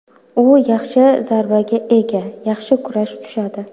U yaxshi zarbaga ega, yaxshi kurash tushadi.